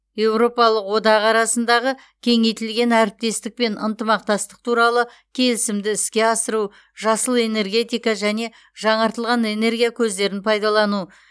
еуропалық одақ арасындағы кеңейтілген әріптестік пен ынтымақтастық туралы келісімді іске асыру жасыл энергетика және жаңартылған энергия көздерін пайдалану